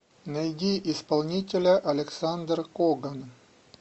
найди исполнителя александр коган